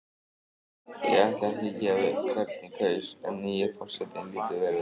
Ég ætla ekki að gefa upp hvern ég kaus en nýi forsetinn lítur vel út.